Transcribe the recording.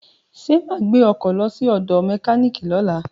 Ṣo ma gbé ọkọ̀ lọ sí ọ̀dọ̀ mẹkíníìkì lọ́la?